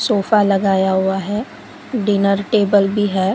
Sofa लगाया हुआ है डिनर टेबल भी है।